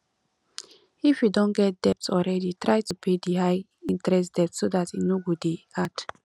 if you don get debt already try to pay di high interest debt so dat e no go dey add